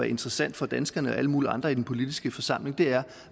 interessant for danskerne og alle mulige andre i den politiske forsamling er